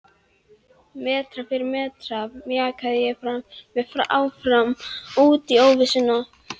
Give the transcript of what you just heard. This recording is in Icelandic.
Metra fyrir metra mjakaði ég mér áfram út í óvissuna.